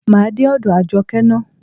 Máa dé ọ̀dọ̀ Àjọkẹ́ ná.